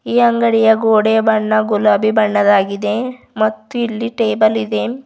ಈ ಅಂಗಡಿಯ ಗೋಡೆಯ ಬಣ್ಣ ಗುಲಾಬಿ ಬಣ್ಣದಾಗಿದೆ ಮತ್ತು ಇಲ್ಲಿ ಟೇಬಲ್ ಇದೆ.